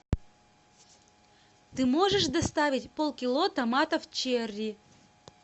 ты можешь доставить полкило томатов черри